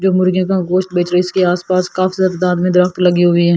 जो मुर्गियों का गोश्त बेच रहे है इसके आसपास काफी तादाद में दरख़्त लगी हुई है ।